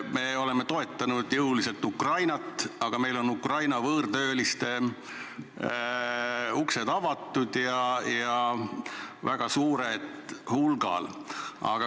Me oleme Ukrainat jõuliselt toetanud ja meil on sealt pärit võõrtöölistele uksed avatud, neid on meil väga suurel hulgal.